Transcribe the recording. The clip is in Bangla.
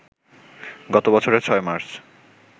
গত বছরের ৬ মার্চ